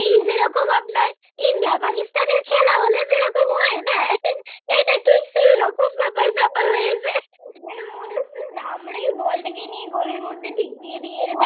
আমরাই বলটাকে নিয়ে গোলের মধ্যে ঢুকিয়ে দি